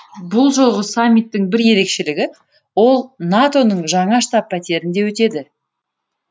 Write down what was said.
бұл жолғы саммиттің бір ерекшелігі ол нато ның жаңа штаб пәтерінде өтеді